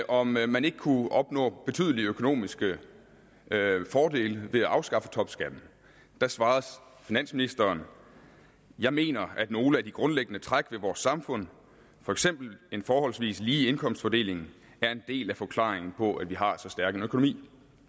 om man ikke kunne opnå betydelige økonomiske fordele ved at afskaffe topskatten da svarede finansministeren jeg mener at nogle af de grundlæggende træk ved vores samfund for eksempel en forholdsvis lige indkomstfordeling er en del af forklaringen på at vi har så stærk en økonomi